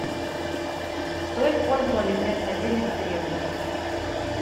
что использовали вместо денег в древности